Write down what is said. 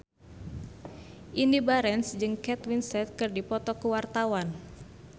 Indy Barens jeung Kate Winslet keur dipoto ku wartawan